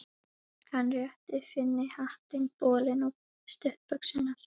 Hann rétti Finni hattinn, bolinn og stuttbuxurnar.